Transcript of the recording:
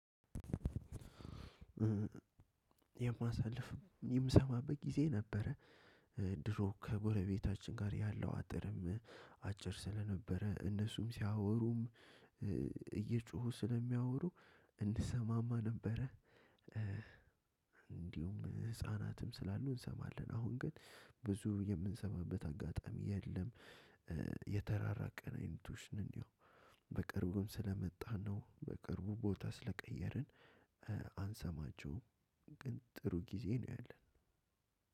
የማሳልፍ የምሰማበት ጊዜ ነበረ። ድሮ ከጎረቤታችን ጋር ያለው አጥርም አጭር ስለነበረ እነሱም ሲያወሩም እየጮሁ ስለሚያወሩ እንሰማማ ነበረ። እንዲሁም ህፃናትም ስላሉ እንሰማለን አሁን ግን ብዙ የምንሰማበት አጋጣሚ የለም። የተራራቅ ንአይነቶች ነን የው በቅርቡም ስለመጣን ነው። በቅርቡ ቦታ ስለቀየርን አንሰማቸውም። ግን ጥሩ ጊዜ ነው ያለን።